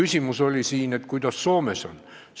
Siin oli küsimus, kuidas Soomes lood on.